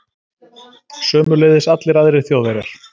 Sömuleiðis allir aðrir Þjóðverjar.